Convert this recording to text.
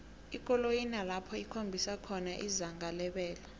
ikoloyi inalapho ikhombisa khona izinga lebelo